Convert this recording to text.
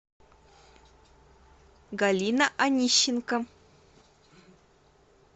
галина анищенко